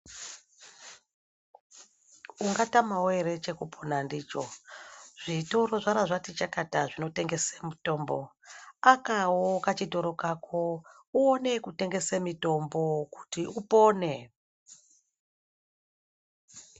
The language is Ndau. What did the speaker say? Ungatamawo ere chekupona ndicho zvitoro zvarazvati chakata zvinotengesa mitombo akawo kachitoro kako uone kutengese mitombo kuti upone.